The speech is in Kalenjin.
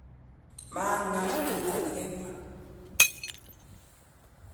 maang'am kito ne kemwa